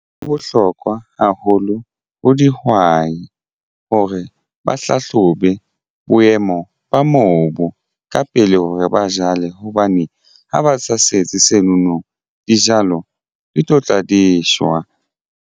Ho bohlokwa haholo ho dihwai hore ba hlahlobe boemo ba mobu ka pele hore ba jale hobane ha ba sa setse seno no dijalo di tlotla di shwa.